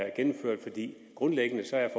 er gennemført grundlæggende er